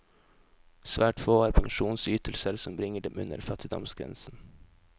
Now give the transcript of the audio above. Svært få har pensjonsytelser som bringer dem under fattigdomsgrensen.